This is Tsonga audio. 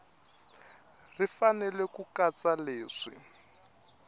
ri fanele ku katsa leswi